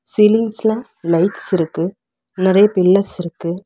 சீலிங்ஸ்ல lights இருக்கு நெறைய pillars இருக்கு.